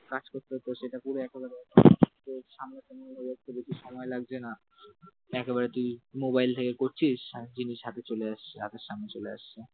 কাজ করতে হতো সেটা করে তো সামনে সামনে একটু বেশি সময় লাগছে না, একবারে তুই মোবাইল থেকে করছিস জিনিস, হাতে চলে এসছে সামনে চলে আসছে।